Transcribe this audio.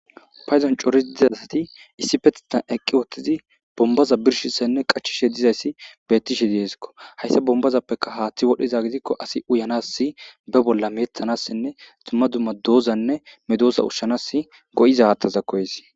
payzan corisi diza asati issipethtan eqqiwothtizi bombaza birshissenne qachishe dizayssi bettishe deesikko hayssa bombazappeka haaththi wodhiza gidikko asi uyanassi be bolla meethanassinne dumma dumma doozanne medoosa ushshanas go7iza haattaza koyesi